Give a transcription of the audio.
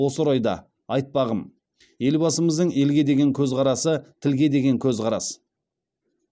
осы орайда айтпағым елбасымыздың елге деген көзқарасы тілге деген көзқарас